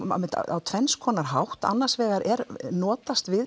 á tvenns konar hátt annars vegar er notast við